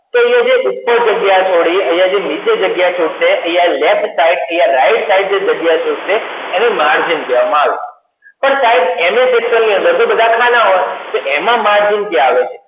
તો એ જે ઉપર જગ્યા છોડી નીચે જગ્યા છોડશે અહીંયા laft side જગ્યા છૂટશે એને margin કહેવાય માલ તો સાહેબ ms excel ની અંદર બધા ખાના આવે તો એમાં margin ક્યાં આવે